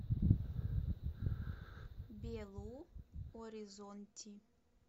белу оризонти